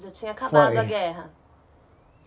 Já tinha acabado a guerra.